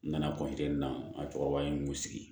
N nana na cɛkɔrɔba in n y'o sigi